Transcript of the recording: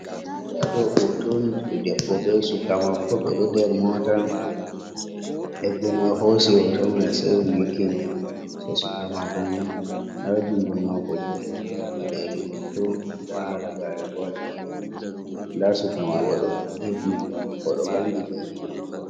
Nda ɗo hoto on je debbo be suka maako, ɓe ɗo nder mota. deɓɓo mai hosi hoto mai sai o nyukkini yeso suka maako man, nda jungo maako be lalle ha peɗeli maako, nda halagare bo ha jungo mai. Nda suka mai bo ɗo ɓe hifnere mako, ɗo vangi be riga maako.